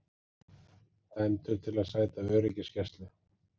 Dæmdur til að sæta öryggisgæslu